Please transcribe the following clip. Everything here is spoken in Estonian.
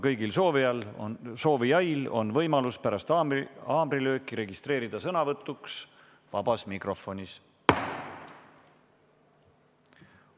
Kõigil soovijail on võimalus pärast haamrilööki registreeruda sõnavõtuks vabas mikrofonis.